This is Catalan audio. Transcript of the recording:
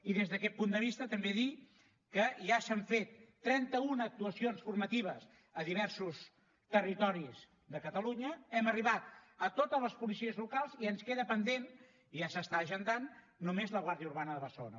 i des d’aquest punt de vista també dir que ja s’han fet trentauna actuacions formatives a diversos territoris de catalunya hem arribat a totes les policies locals i ens queda pendent i ja s’està agendant només la guàrdia urbana de barcelona